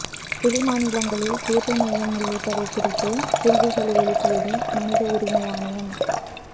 வெளி மாநிலங்களில் தேர்வு மையம் உள்ளிட்டவை குறித்து கேள்விகளை எழுப்பியது மனித உரிமை ஆணையம்